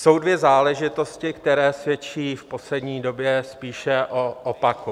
Jsou dvě záležitosti, které svědčí v poslední době spíše o opaku.